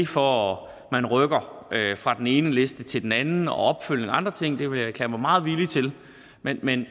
for at man rykker fra den ene liste til den anden og opfølgning og andre ting det vil jeg erklære mig meget villig til men men